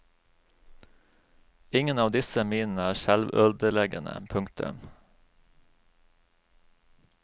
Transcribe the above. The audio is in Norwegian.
Ingen av disse minene er selvødeleggende. punktum